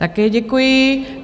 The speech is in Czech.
Také děkuji.